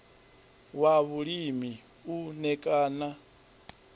wa vhulimi u ṋ ekana